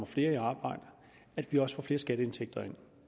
flere skatteindtægter når